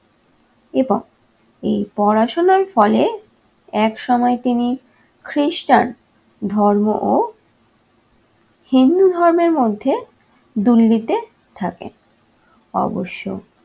এবং এই পড়াশোনার ফলে এক সময় তিনি খ্রিস্টান ধর্ম ও হিন্দু ধর্মের মধ্যে দূল দিতে থাকেন। অবশ্য